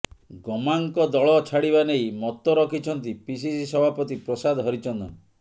ଗମାଙ୍ଗଙ୍କ ଦଳ ଛାଡିବାନେଇ ମତ ରଖିଛନ୍ତି ପିସିସି ସଭାପତି ପ୍ରସାଦ ହରିଚନ୍ଦନ